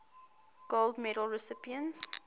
gold medal recipients